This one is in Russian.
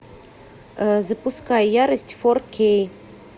запускай ярость фор кей